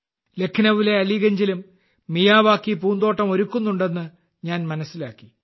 ലഖ്നൌവിലെ അലീഗഞ്ചിലും മിയാവാക്കി പൂന്തോട്ടം ഒരുക്കുന്നുണ്ടെന്ന് ഞാൻ മനസ്സിലാക്കി